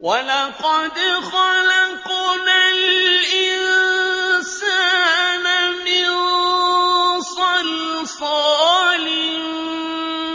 وَلَقَدْ خَلَقْنَا الْإِنسَانَ مِن صَلْصَالٍ